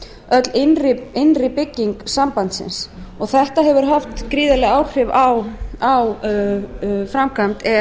öll innri bygging sambandsins þetta hefur haft gríðarleg áhrif á framkvæmd e e